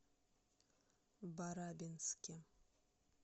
барабинске